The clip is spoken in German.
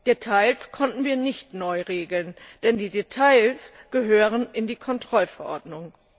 Details konnten wir nicht neu regeln, denn die Details gehören in die Kontrollverordnung.